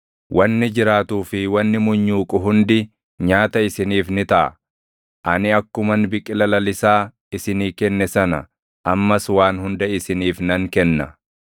Wanni jiraatuu fi wanni munyuuqu hundi nyaata isiniif ni taʼa. Ani akkuman biqila lalisaa isinii kenne sana ammas waan hunda isiniif nan kenna.